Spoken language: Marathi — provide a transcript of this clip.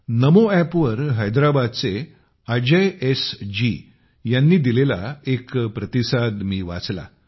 नमो एप वर हैदराबादचे अजयजी यांनी दिलेला एक प्रतिसाद मी वाचला